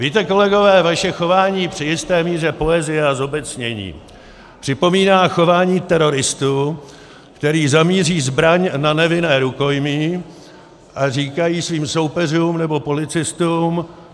Víte, kolegové, vaše chování při jisté míře poezie a zobecnění připomíná chování teroristů, kteří zamíří zbraň na nevinné rukojmí a říkají svým soupeřům nebo policistům: